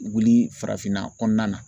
Wuli farafinna kɔnɔna na.